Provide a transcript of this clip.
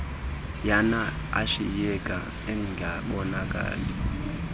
yana ashiyeke engabonakali